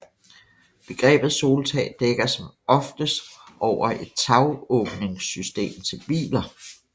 Begrebet soltag dækker som oftest over et tagåbningssystem til biler